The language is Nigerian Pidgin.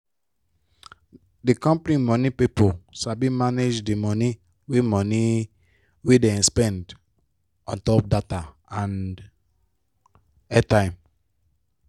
di company money pipo sabi manage di money wey money wey dem spend on top data and airtime.